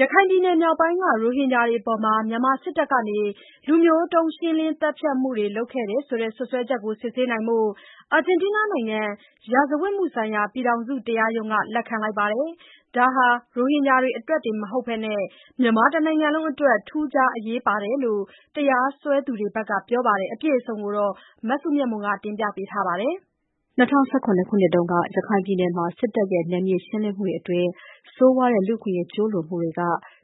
ရခိုင်ပြည်နယ်မြောက်ပိုင်းက ရိုဟင်ဂျာတွေအပေါ် မြန်မာစစ်တပ်က လူမျိုးတုန်းရှင်းလင်း သတ်ဖြတ်မှုတွေ လုပ်ခဲ့တယ်ဆိုတဲ့ စွပ်စွဲချက်တွေကို စစ်ဆေးဖို့ အာဂျင်တီးနားနိုင်ငံ ရာဇဝတ်မှုဆိုင်ရာ ပြည်ထောင်စုတရားရုံးက လက်ခံလိုက်ပါတယ်။ ဒါဟာ ရိုဟင်ဂျာတွေအတွက်တင်မကဘဲ မြန်မာတနိုင်ငံလုံးအတွက် ထူးခြားအရေးပါတယ်လို့ တရားစွဲသူတွေဘက်က ပြောလိုက်ပါတယ်။ အပြည့်အစုံကို မစုမြတ်မွန်က တင်ပြပေးထားပါတယ်။ ၂၀၁၇ ခုနှစ်က ရခိုင်ပြည်နယ်မှာ စစ်တပ်ရဲ့နယ်မြေရှင်းလင်းမှုတွေအတွင်း ဆိုးဝါးတဲ့ လူ့အခွင့်အရေးကျူးလွန်မှုတွေက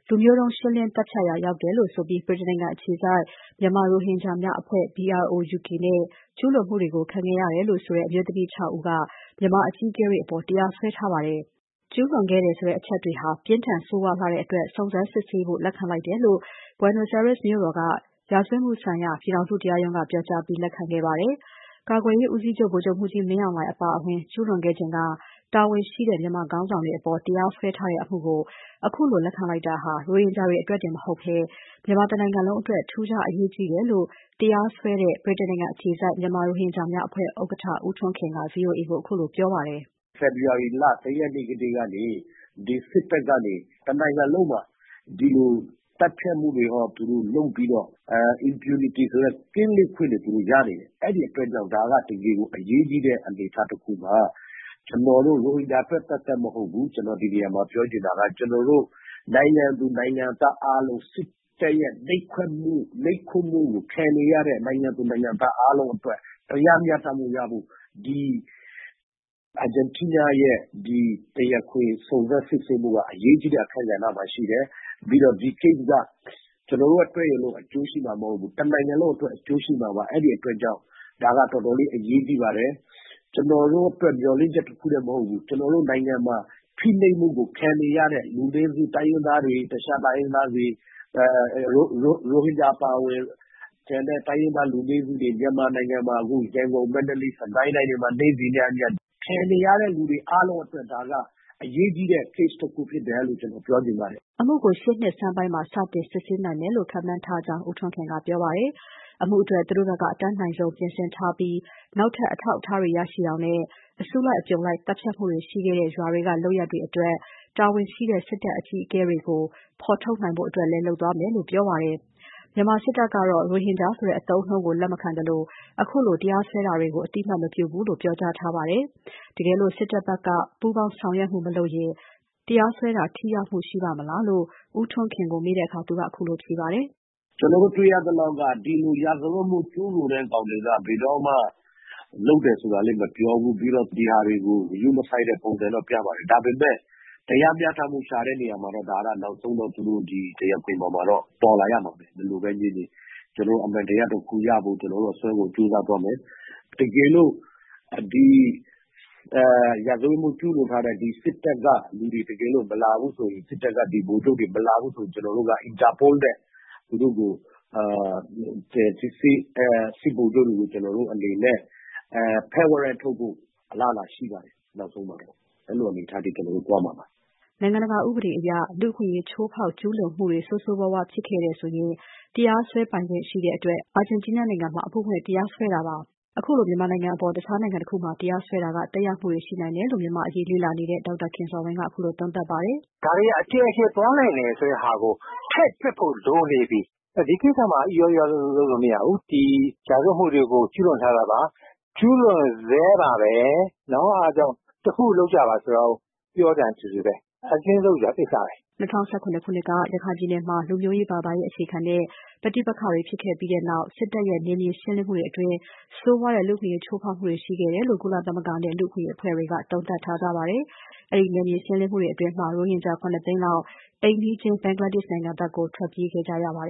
လူမျိုးတုံး ရှင်းလင်းသတ်ဖြတ်ရာရောက်တယ်လို့ဆိုပြီး ဗြိတိန်နိုင်ငံအခြေစိုက် မြန်မာရိုဟင်ဂျာများအဖွဲ့ BROUK နဲ့ ကျူးလွန်မှုတွေ ခံခဲ့ရတယ်ဆိုတဲ့ အမျိုးသမီး ၆ ဦးက မြန်မာအကြီးအကဲတွေအပေါ်တရားစွဲထားပါတယ်။ ကျူးလွန်ခဲ့တယ်ဆိုတဲ့ အချက်တွေဟာ ပြင်းထန်ဆိုးဝါးလှတဲ့အတွက် စုံစမ်းစစ်ဆေးဖို့ လက်ခံလိုက်တယ်လို့ Buenos Aires မြို့တော်က ရာဇဝတ်မှုဆိုင်ရာ ပြည်ထောင်စုတရားရုံးက ပြောကြားပြီးလက်ခံလိုက်ပါတယ်။ ကာကွယ်ရေးဦးစီချုပ် ဗိုလ်ချုပ်မှူးကြီးမင်းအောင်လှိုင်အပါအဝင် ကျူးလွန်ခဲ့ချိန်က တာဝန်ရှိတဲ့ မြန်မာခေါင်းဆောင်တွေအပေါ်တရားစွဲထားတဲ့ အမှုကို ခုလိုလက်ခံလိုက်တာဟာ ရိုဟင်ဂျာတွေအတွက်တင် မဟုတ်ဘဲ မြန်မာတနိုင်ငံလုံးအတွက် ထူးခြားအရေးကြီးတယ်လို့ တရားစွဲတဲ့ ဗြိတိန်နိုင်ငံအခြေစိုက် မြန်မာရိုဟင်ဂျာများအဖွဲ့ဥက္ကဋ္ဌ ဦးထွန်းခင်က ဗွီအိုအေ မြန်မာပိုင်းကို ခုလိုပြောပါတယ်။ “ဖေဖေါ်ဝါရီလ ၁ ရက်နေ့ကတည်းက ဒီစစ်တပ်ကနေ တနိုင်ငံလုံးမှာ ဒီလို သတ်ဖြတ်မှုတွေသူတို့လုပ်ပြီးတော့ impunity ဆိုတဲ့ ကင်းလွတ်ခွင့်တွေကိုရနေတယ်။ အဲဒီအတွက်ကြောင့် ဒါက တကယ်ကို အရေးကြီးတဲ့အနေအထားတခုပါ။ ကျနော်တို့ ရိုဟင်ဂျာအတွက်သက်သက်မဟုတ်ဘူး။ ကျနော် ဒီနေရာမှာပြောချင်တာက ကျနော်တို့ နိုင်ငံသူနိုင်ငံသားအားလုံး စစ်တပ်ရဲ့နှိပ်ကွပ်မှုကိုခံနေရတဲ့ နိုင်ငံသူနိုင်ငံသားအားလုံးအတွက် တရားမျှတမှုရဖို့ ဒီအာဂျင်တီးနားရဲ့တရားခွင် စုံစမ်းစစ်ဆေးမှုက အရေးကြီးတဲ့ အခန်းကဏ္ဍမှာရှိတယ်။ ပြီးတော့ ဒီအမှုက ကျနော်တို့အတွက်တင် အကျိုးရှိမှာမဟုတ်ဘူး။ တနိုင်ငံလုံးအတွက်အကျိုးရှိမှာပါ။ အဲဒီအတွက်ကြောင့် ဒါက တော်တော်လေး အရေးကြီးပါတယ်။ ကျနော်တို့အတွက် မျှော်လင့်ချက်တခုတင်မဟုတ်ဘူး။ ကျနော်တို့နိုင်ငံမှာ ဖိနှိပ်မှုကိုခံနေရတဲ့ လူနည်းစုတိုင်းရင်းသားတွေ၊ တခြားတိုင်းရင်းသားတွေ၊ ရိုဟင်ဂျာအပါအဝင် ကျန်တဲ့တိုင်းရင်းသားလူနည်းစုတွေ မြန်မာနိုင်ငံမှာ ရန်ကုန်၊ မန္တလေး၊ စစ်ကိုင်းတိုင်းတွေမှာ နေ့စဉ်ခံနေရတဲ့လူတွေအားလုံးအတွက် အရေးကြီးတဲ့ case တခုဖြစ်တယ်လို့ ကျနော် ပြောချင်ပါတယ်။” ဒီအမှုကို ရှေ့နှစ်ဆန်းပိုင်းမှာ စတင်စစ်ဆေးနိုင်မယ်လို့ ခန့်မှန်းကြောင်း ဦးထွန်းခင်က ပြောပါတယ်။ အမှုအတွက် သူတို့ ဘက်က အတတ်နိုင်ဆုံး ပြင်ဆင်ထားပြီး နောက်ထပ် အထောက်အထားတွေရရှိအောင်နဲ့ အစုလိုက်အပြုံလိုက် သတ်ဖြတ် မှုတွေရှိခဲ့တဲ့ ရွာတွေကလုပ်ရပ်တွေအတွက် တာဝန်ရှိတဲ့ စစ်တပ်အကြီးအကဲတွေကို ဖော်ထုတ်ဖို့လည်း လုပ်သွားမယ်လို့ပြောပါတယ်။ မြန်မာစစ်တပ်ကတော့ ရိုဟင်ဂျာဆိုတဲ့ အသုံးအနှုန်းကိုလက်မခံသလို ခုလို တရားစွဲတာတွေကို အသိအမှတ်မပြုဘူးလို့ ပြောကြားထားပါတယ်။ တကယ်လို့ စစ်တပ်ဘက်က ပူးပေါင်းဆောင်ရွက်မှုမလုပ်ရင် တရားစွဲတာ ထိရောက်မှုရှိပါ့မလားလို့ ဦးထွန်းခင်ကို မေးတဲ့အခါ သူကခုလိုဖြေပါတယ်။ “ကျနော်တို့တွေ့ရသလောက်က ဒီလို ရာဇဝတ်မှုကျူးလွန်တဲ့ကောင်တွေက ဘယ်တော့မှ လုပ်တယ်ဆိုတာလည်းမပြောဘူး။ ပြီးတော့ ဒီဟာတွေကို ဂရုမစိုက်တဲ့ပုံစံတော့ ပြပါတယ်။ ဒါပေမယ့် တရားမျှတမှုရှာတဲ့နေရာမှာတော့ နောက်ဆုံးတော့ သူတို့ ဒီတရားခွင်ပေါ်မှာတော့ ပေါ်လာရမှာပဲ၊ ဘယ်လိုပဲငြင်းငြင်း။ အမှန်တရားတခုရဖို့ ကျနော်တို့ အစွမ်းကုန်ကြိုးစားသွားမယ်။ တကယ်လို့ ရာဇဝတ်မှုကျူးလွန်ထားတဲ့ ဒီစစ်တပ်ကလူတွေ၊ ဗိုလ်ချုပ်တွေ မလာဘူးဆိုရင် ကျနော်တို့က သူတို့ကို interpol နဲ့ ဖမ်းဝရမ်းထုတ်ဖို့ အလားအလာရှိပါတယ် နောက်ဆုံးမှာတော့။ အဲလိုအနေအထားအထိ ကျနော်တို့သွားမှာပါ။” နိုင်ငံတကာဥပဒေအရ လူ့အခွင့် ချိုးဖောက် ကျူးလွန်မှုတွေ ဆိုးဆိုးဝါးဝါး ဖြစ်ခဲ့တယ်ဆိုရင် တရားစွဲပိုင်ခွင့်ရှိတဲ့အတွက် အာဂျင်တီးနားနိုင်ငံမှာ အမှုဖွင့် တရားစွဲတာဖြစ်ပါတယ်။ အခုလို မြန်မာနိုင်ငံအပေါ် တခြားနိုင်ငံတခုမှာ တရားစွဲတာက သက်ရောက်မှုတွေ ရှိနိုင်တယ်လို့ မြန်မာ့အရေး လေ့လာနေတဲ့ ဒေါက်တာခင်ဇော်ဝင်းက ခုလို သုံးသပ်ပါတယ်။ “ဒါတွေက အကျယ်ကျယ်သွားနိုင်တာကို ထည့်တွက်ဖို့ လိုနေပြီ။ ဒီကိစ္စမှာ အီရော အီရောလုပ်မရဘူး။ ရာဇဝတ်မှုတွေကို ကျူးလွန်ထားတာပါ။ ကျူးလွန်ဆဲပါပဲ။ အဲဒါကြောင့် တခုခုလုပ်ကြပါလို့ ပြောတာနဲ့ တူတူပဲ။” ၂၀၁၇ ခုနှစ်က ရခိုင်ပြည်နယ်မှာ လူမျိုးရေး ဘာသာရေးအခြေခံတဲ့ ပဋိပက္ခတွေ ဖြစ်ခဲ့ပြီးနောက် စစ်တပ်ရဲ့ နယ်မြေရှင်းလင်းမှုတွေအတွင်း ဆိုးဝါးတဲ့ လူ့အခွင့်အရေးချိုးဖောက်မှုတွေရှိခဲ့တယ်လို့ ကုလသမဂ္ဂနဲ့ လူ့အခွင့်အရေးအဖွဲ့တွေက သုံးသပ်ထားကြပါတယ်။ အဲဒီနယ်မြေရှင်းလင်းမှုတွေအတွင်း ရိုဟင်ဂျာ ၇ သိန်းလောက် အိမ်နီးချင်း ဘင်္ဂလားဒေရှ့်နိုင်ငံဘက်ကို ထွက်ပြေးခဲ့ကြရပါတယ်